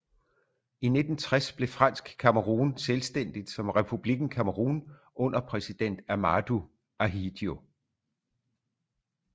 I 1960 blev fransk cameroun selvstændigt som republikken cameroun under præsident ahmadou ahidjo